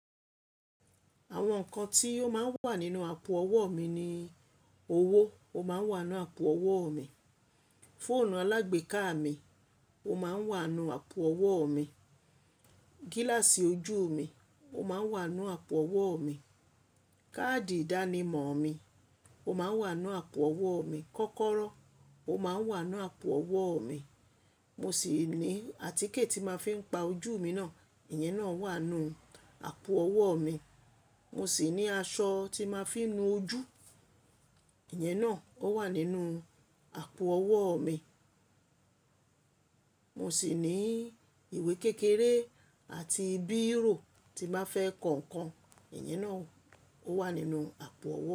Àwọn nǹkan ti ó máa ń wà nínú àpò ọwọ́ mi ni: owó, ó máa ń wà nínú àpò ọwọ́ mi; fóònù alágbèéká mi, ó máa ń wà nú àpò ọwọ́ mi; gíláàsì ojú mi, ó máa ń wà nú àpò ọwọ́ mi; káàdì ìdánimọ̀ mi, ó máa ń wà nú àpò ọwọ́ mi; kọ́kọ́rọ́, ó máa ń wà nú àpò ọwọ́ mi; mo sì ní àtíkè tí máa fi ń pa ojú mi náà, ìyẹn náà wà nú àpò ọwọ́ mi; mo sì ní aṣọ tí máa fi nu ojú, ìyẹn náà ó wà nínú àpò ọwọ́ mi; mo sì ní ìwé kékeré àti bírò tí n ba fẹ́ kọ nǹkan, ìyẹn náà ó wà nínú àpò ọwọ́ mi.